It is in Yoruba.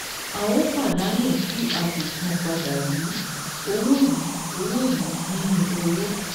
A óò pàdánù tí a kò san padà yìí owó yìí owó yìí nínú òwò